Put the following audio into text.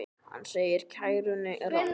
Hann segir kæruna ranga.